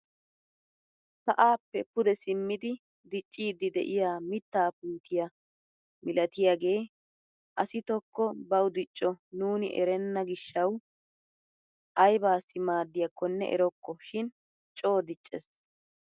Sa'aappe pude simmidi dicciidi de'yaa mittaa puutiyaa milatiyaagee asi tokko bawu diicco nuni erenna gishshawu aybassii maaddiyaakonne erokko shin coo diccees!